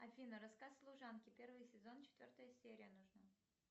афина рассказ служанки первый сезон четвертая серия нужна